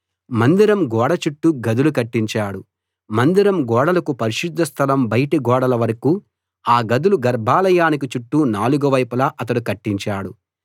మందిరం గోడ చుట్టూ గదులు కట్టించాడు మందిరం గోడలకు పరిశుద్ధ స్థలం బయటి గోడల వరకూ ఆ గదులు గర్భాలయానికి చుట్టూ నాలుగు వైపులా అతడు కట్టించాడు